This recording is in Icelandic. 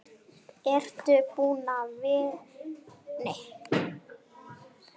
Ertu búin að vera lengi?